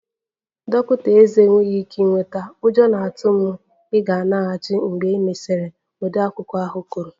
Dọkịta ezé enweghị ike ịnweta, ụjọ na-atụ m na ị ga-alaghachi mgbe e mesịrị, odeakwụkwọ ahụ kwuru